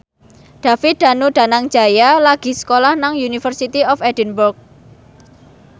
David Danu Danangjaya lagi sekolah nang University of Edinburgh